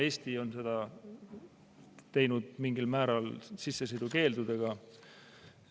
Eesti on seda teinud mingil määral sissesõidukeeldudega.